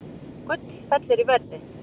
Gull fellur í verði